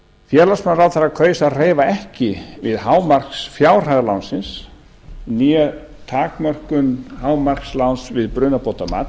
félagsmálaráðherra kaus að hreyfa ekki við hámarksfjárhæð lánsins né takmörkun hámarksláns við brunabótamat